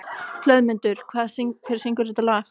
Hlöðmundur, hver syngur þetta lag?